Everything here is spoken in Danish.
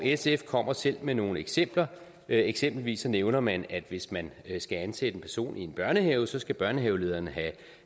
sf kommer selv med nogle eksempler eksempelvis nævner man at hvis man skal ansætte en person i en børnehave skal børnehavelederen have